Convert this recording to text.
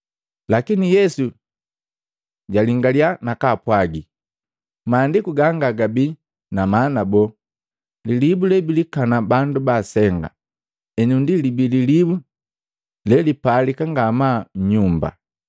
Lakini Yesu jaalingalya na kaapwagi, “Maandiku ganga gabii na maana boo? ‘Lilibu lebilikana bandu baasenga, enu ndi libii lilibu lelipalika ngamaa nnyumba!’